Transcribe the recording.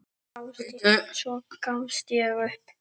Svo gafst ég upp.